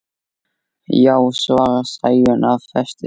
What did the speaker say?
Já, svarar Sæunn af festu.